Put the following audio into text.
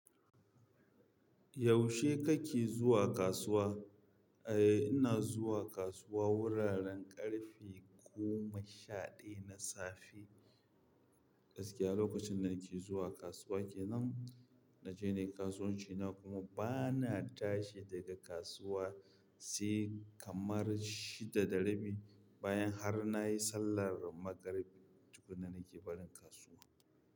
Yaushe kake zuwa kasuwa? Eh ina zuwa kasuwa wuraren ƙarfe goma sha ɗaya na safe. Gaskiya lokacin da nake zuwa kasuwa kenan, naje nayi kasuwanci na kuma bana tashi daga kasuwa sai kamar shida da rabi bayan har nayi sallar magarib. Tukunna nake barin kasuwa.